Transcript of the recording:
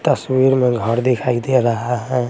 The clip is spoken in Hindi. तस्वीर में घर दिखाई दे रहा है।